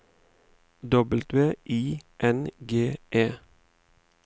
W I N G E